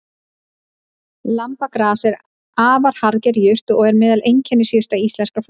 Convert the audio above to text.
Lambagras er afar harðger jurt og er meðal einkennisjurta íslenskrar flóru.